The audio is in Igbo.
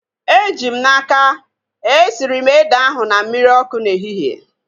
Eji m n'aka, esiri m ede ahu na mmiri ọkụ n'ehihie